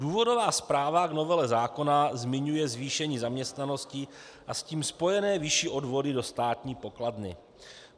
Důvodová zpráva v novele zákona zmiňuje zvýšení zaměstnanosti a s tím spojené vyšší odvody do státní poklady.